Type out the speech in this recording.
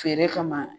Feere kama